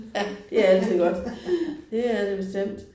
Ja det er altid godt, det er det bestemt